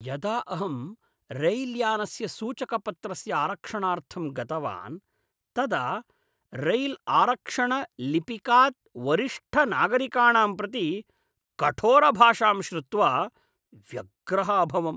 यदा अहं रैल्यानस्य सूचकपत्रस्य आरक्षणार्थं गतवान् तदा रैल्आरक्षणलिपिकात् वरिष्ठनागरिकाणां प्रति कठोरभाषां श्रुत्वा व्यग्रः अभवम्।